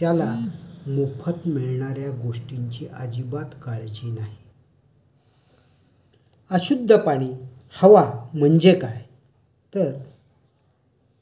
त्याला मोफत मिळणार् या गोष्टींची अजिबात काळजी नाही. अशुध्द पानी, हवा म्हणजे काय? तर